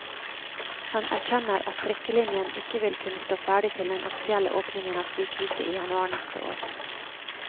Han erkjenner at trikkelinjen ikke vil kunne stå ferdig til den offisielle åpningen av sykehuset i januar neste år.